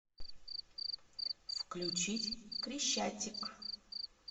включить крещатик